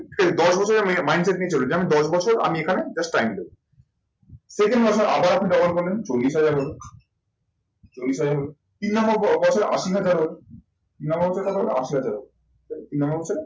দশ বছরের mind set নিয়ে চলুন, যে দশ বছর আমি এখানে just time দেব। second বছর আবার double করলেন, চল্লিশ হাজার হলো। চল্লিশ হাজার হলো চল্লিশ হাজার হলো। তিন নম্বর বছরে আশি হাজার হলো, তিন নম্বর বছরে কত হলো, আশি হাজার।